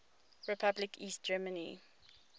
republic east germany